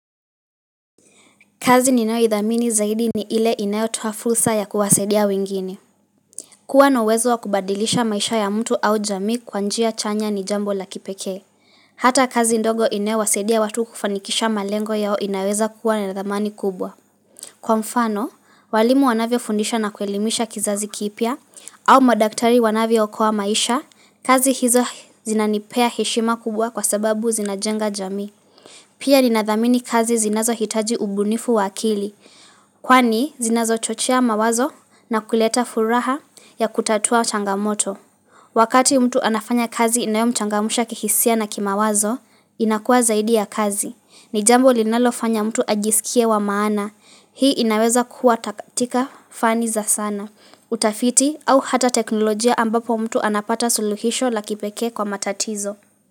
Kazi ninao idhamini zaidi ni ile inayotuha fursa ya kuwasedia wengine. Kuwa na uwezo wa kubadilisha maisha ya mtu au jami kwanjia chanya ni jambo la kipeke. Hata kazi ndogo inayo wasedia watu kufanikisha malengo yao inaweza kuwa na nathamani kubwa. Kwa mfano, walimu wanavyo fundisha na kuelimisha kizazi kipia, au madaktari wanavyokoa maisha, kazi hizo zinanipea heshima kubwa kwa sababu zinajenga jami. Pia ni nathamini kazi zinazo hitaji ubunifu wakili. Kwani zinazo chochea mawazo na kuleta furaha ya kutatua changamoto. Wakati mtu anafanya kazi inayo mchangamusha kihisia na kima wazo, inakua zaidi ya kazi. Ni jambo linalofanya mtu ajisikie wa maana, hii inaweza kuatatika fani za sana. Utafiti au hata teknolojia ambapo mtu anapata suluhisho la kipeke kwa matatizo.